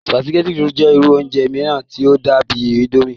sùpàgẹ́tì jẹ́ irú oúnjẹ mìíràn tí ó dàbíi índómì